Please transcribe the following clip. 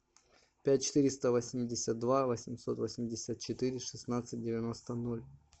пять четыреста восемьдесят два восемьсот восемьдесят четыре шестнадцать девяносто ноль